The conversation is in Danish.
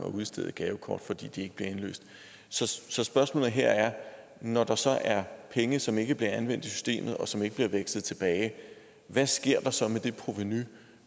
at udstede gavekort fordi de ikke bliver indløst så spørgsmålet her er når der så er penge som ikke bliver anvendt i systemet og som ikke bliver vekslet tilbage hvad sker der så med det provenu